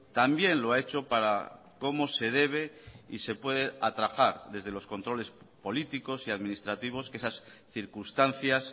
también lo ha hecho para cómo se debe y se puede atajar desde los controles políticos y administrativos que esas circunstancias